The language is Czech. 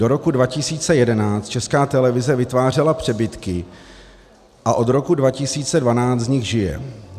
Do roku 2011 Česká televize vytvářela přebytky a od roku 2012 z nich žije.